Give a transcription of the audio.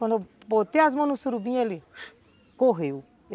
Quando eu botei as mãos no surubim, ele correu.